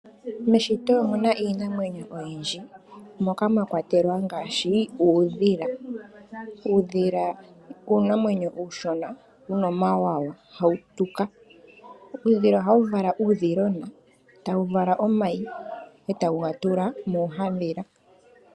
Meshito omuna iinamwenyo oyiindji moka mwa kwatelwa ngaashi uudhila. Uudhila uunamwenyo ushona wuna omawawa, ohawu tuka, ohawu vala uudhilona ,etawu vala omayi etawu gatula muhadhila.